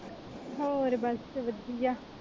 ਹੋਰ ਬਸ ਵਧਿਆ